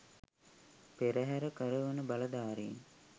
පෙරහර කරවන බලධාරීන්